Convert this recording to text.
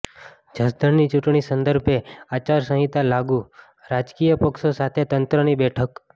જસદણની ચૂંટણી સંદર્ભે આચારસંહિતા લાગુઃ રાજકીય પક્ષો સાથે તંત્રની બેઠક